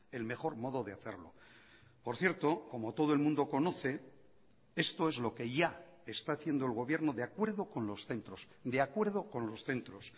el mejor modo de hacerlo por cierto como todo el mundo conoce esto es lo que ya está haciendo el gobierno de acuerdo con los centros de acuerdo con los centros